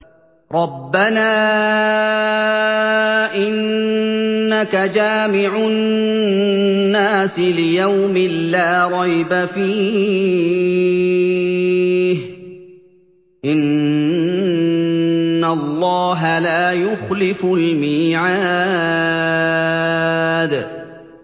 رَبَّنَا إِنَّكَ جَامِعُ النَّاسِ لِيَوْمٍ لَّا رَيْبَ فِيهِ ۚ إِنَّ اللَّهَ لَا يُخْلِفُ الْمِيعَادَ